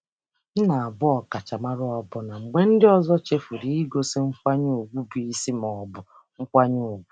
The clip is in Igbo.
M na-abụ ọkachamara ọbụna mgbe ndị ọzọ chefuru igosi nkwanye ùgwù bụ isi ma ọ bụ nkwanye ùgwù.